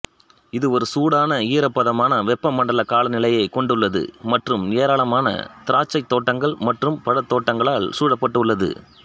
இது ஒரு சூடான ஈரப்பதமான வெப்பமண்டல காலநிலையைக் கொண்டுள்ளது மற்றும் ஏராளமான திராட்சைத் தோட்டங்கள் மற்றும் பழத்தோட்டங்களால் சூழப்பட்டுள்ளது